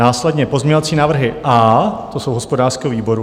Následně pozměňovací návrhy A, ty jsou hospodářského výboru.